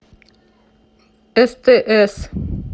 стс